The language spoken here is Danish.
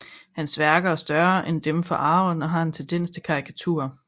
Hans værker er større end dem fra Aron og har en tendens til karikaturer